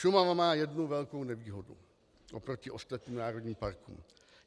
Šumava má jednu velkou nevýhodu oproti ostatním národním parkům.